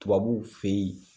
Tubabuw fe yen